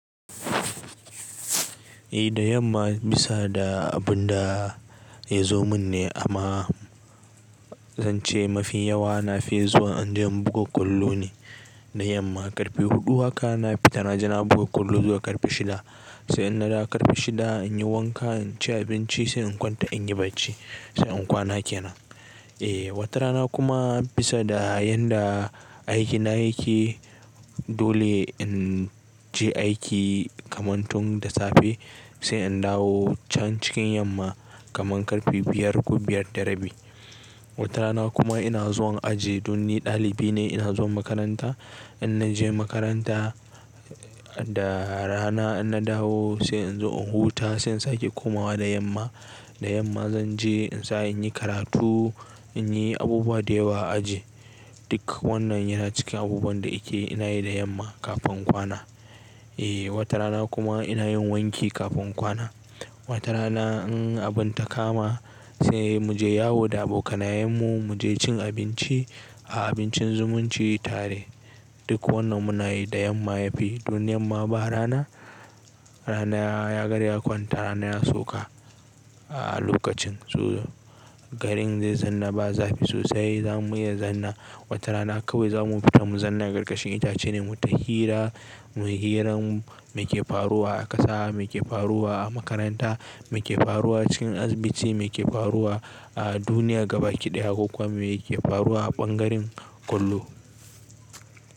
Eh da yamma bisa da abun da ya zo mun ne amma zan ce mafi yawa nafi zuwa inje in buga ƙwallo ne. Da yamma ƙarfe huɗu haka na fita na je na buga ƙwallo zuwa ƙarfe shida. Sai in nadawo ƙarfe shida in yi wanka, in ci abinci sai in kwanta in yi bacci sai in kwana ke nan. Eh wata rana kuma bisa da yanda aikina yake dole in je aiki kamantun da safe sai in dawo can cikin yamma kaman ƙarfe biyar ko biyar da rabi. Wata rana kuma ina zuwan aji don ni ɗalibi ne ina zuwa makaranta. In naje makaranta da rana in na dawo sai in zo in huta sai in sake komawa da yamma. Da yamma zan je in tsaya in yi karatu, in yi abubuwa da yawa a aji. Duk wannan yana cikin abubuwan da ke ina yi da yamma kafin kwana. Eh wata rana kuma ina yin wanki kafin kwana. Wata rana in abin ta kama sai mu je yawo da abokanayen mu mu je cin abinci a abincin zumunci tare. Duk wannan muna yi da yamma ya fi domin yamma ba rana, rana ya riga ya kwanta rana yana sauka a lokacin. So garin zai zanna ba zafi sosai zamu iya zanna. Wata rana kawai za mu fita mu zanna a ƙarƙashin itace ne mu ta hira, mu hiran me ke faruwa a ƙasa, me ke faruwa a makaranta, me ke faruwa cikin asibiti, me ke faruwa a duniya gaba kiɗaya ko kuwa me ke faruwa a ɓangaren ƙwallo.